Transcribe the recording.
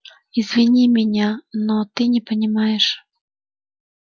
извини меня но ты не понимаешь